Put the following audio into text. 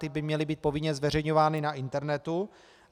Ty by měly být povinně zveřejňovány na internetu.